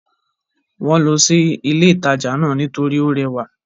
Wọ́n lọ sí ilé ìtajà náà nítorí ó rẹwà